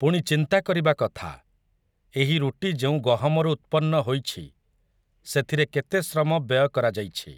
ପୁଣି ଚିନ୍ତା କରିବା କଥା, ଏହି ରୁଟି ଯେଉଁ ଗହମରୁ ଉତ୍ପନ୍ନ ହୋଇଛି, ସେଥିରେ କେତେ ଶ୍ରମ ବ୍ୟୟ କରାଯାଇଛି ।